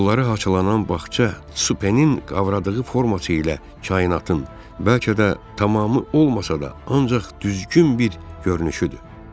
Yolları haçalanan bağça Supe-nin qavradığı forma ilə kainatın, bəlkə də tamamı olmasa da, ancaq düzgün bir görünüşüdür.